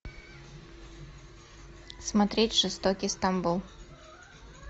смотреть жестокий стамбул